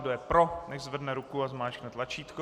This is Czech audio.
Kdo je pro, nechť zvedne ruku a zmáčkne tlačítko.